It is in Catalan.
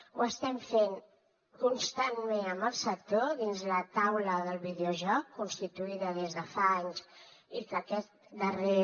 ho estem fent constantment amb el sector dins la taula del videojoc constituïda des de fa anys i aquest darrer